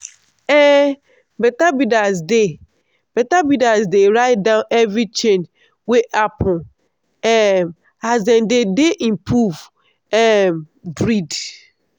um better breeders dey better breeders dey write down every change wey happen um as dem dey improve um breed.